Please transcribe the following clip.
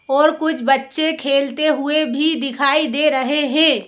और कुछ बच्चे खेलते हुए भी दिखाई दे रहे हैं।